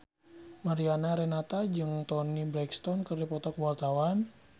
Mariana Renata jeung Toni Brexton keur dipoto ku wartawan